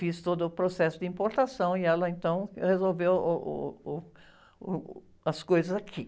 Fiz todo o processo de importação e ela então resolveu, uh, uh, uh, uh, as coisas aqui.